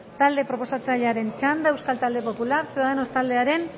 talde proposatzailearen txanda euskal talde popular ciudadanos taldearen